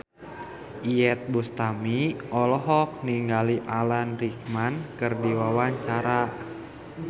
Iyeth Bustami olohok ningali Alan Rickman keur diwawancara